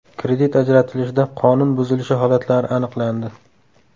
Kredit ajratilishida qonun buzilishi holatlari aniqlandi.